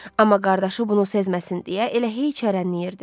Amma qardaşı bunu sezməsin deyə elə heç hərənləyirdi.